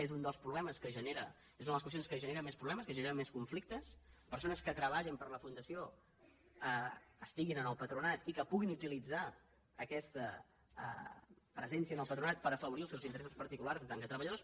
és una de les qüestions que ge·nera més problemes que genera més conflictes que persones que treballen per a la fundació estiguin en el patronat i que puguin utilitzar aquesta presència en el patronat per afavorir els seus interessos particulars en tant que treballadors